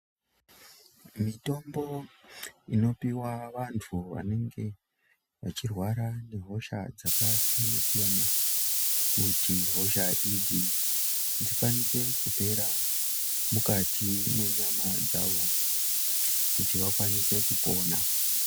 Mitombo inopihwa vantu vanenge vachirwara nehosha dzakasiyana siyana kuti hosha idzi dzikwanise kupera mukati mwenyama dzawo kuti vakwanise kupona.